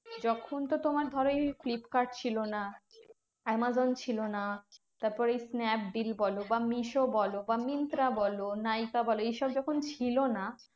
যখন তো তোমার ধরো এই ফ্লিপকার্ড ছিল না, আমাজন ছিল না, তারপর এই স্ন্যাপডিল বলো বা মিশো বলো বা মিন্ত্রা বলো, নাইকা বলো এইসব যখন ছিল না।